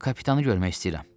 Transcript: Kapitanı görmək istəyirəm.